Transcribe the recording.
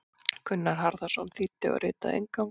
Gunnar Harðarson þýddi og ritaði inngang.